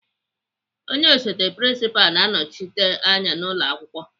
Onye osote prinsipalụ na-anọchite anya n'ụlọakwụkwọ.